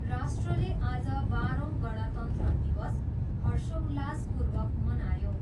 राष्ट्रले आज बाह्रौँ गणतन्त्र दिवस हर्षोल्लासपूर्वक मनायो।